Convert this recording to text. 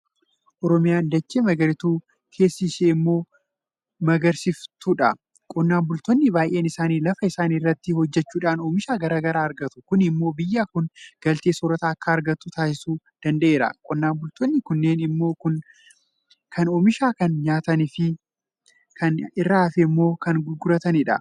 Oromiyaan dachee magariituu keessi ishee immoo magariisoftuudha. Qonnaan bultoonni baay'een isaanii lafa isaanii irratti hojjechuudhaan oomisha garaa garaa argatu. Kun immoo biyyi kun galtee soorrataa akka argattu taasisuu danda'eera. Qonnaan bultoonni kunneen immoo kan oomishan kana nyaatanii kan irraa hafe immoo ni gurguratu.